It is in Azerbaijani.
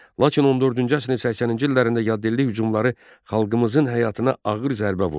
Lakin 14-cü əsrin 80-ci illərində yaddilli hücumları xalqımızın həyatına ağır zərbə vurdu.